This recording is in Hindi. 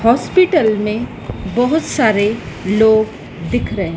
हॉस्पिटल में बहुत सारे लोग दिख रहें--